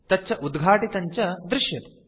तच्च उद्घाटितं च दृश्यते